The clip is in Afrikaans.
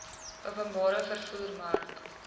openbare vervoer mark